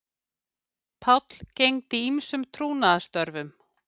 Páll gegndi ýmsum trúnaðarstörfum